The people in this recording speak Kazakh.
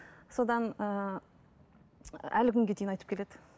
содан ыыы әлі күнге дейін айтып келеді